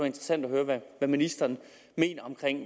interessant at høre hvad ministeren mener om